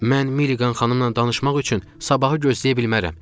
Mən Milliqan xanımla danışmaq üçün sabahı gözləyə bilmərəm.